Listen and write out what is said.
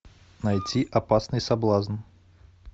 найти опасный соблазн